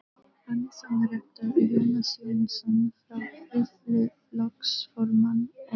Hannesson rektor og Jónas Jónsson frá Hriflu flokksformann og